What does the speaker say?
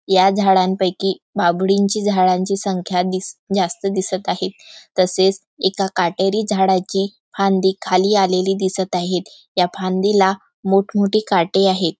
या झाडं पैकी बाभळींची झाडांची संख्या दिस जास्त दिसत आहेत तसेच एका काटेरी झाडाची फांदी खाली आलेली दिसत आहे या फांदीला मोठ मोठी काटे आहेत.